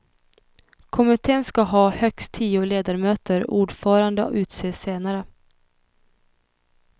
Kommittén ska ha högst tio ledamöter och ordförande utses senare.